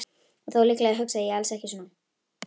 Og þó, líklega hugsaði ég alls ekki svona.